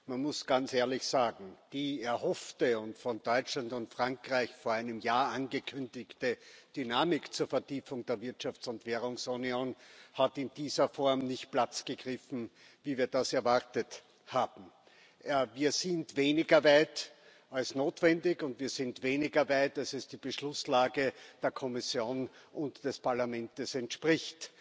Man muss ganz ehrlich sagen Die erhoffte und von Deutschland und Frankreich vor einem Jahr angekündigte Dynamik zur Vertiefung der Wirtschafts und Währungsunion hat in dieser Form nicht Platz gegriffen, wie wir das erwartet haben. Wir sind weniger weit als notwendig, und wir sind weniger weit, als es der Beschlusslage der Kommission und des Parlaments entspricht.